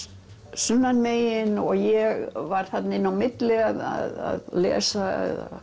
sunnanmegin og ég var þarna inn á milli að lesa